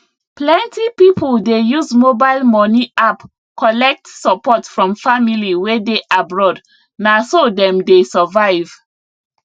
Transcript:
plenty people dey use mobile money app collect support from family wey dey abroad na so dem dey survive